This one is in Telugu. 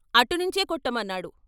అటునుంచే కొట్టమన్నాడు.